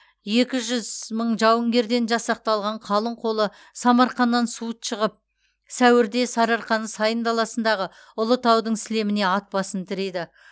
екі жүз мың жауынгерден жасақталған қалың қолы самарқаннан суыт шығып сәуірде сарыарқаның сайын даласындағы ұлытаудың сілеміне ат басын тірейді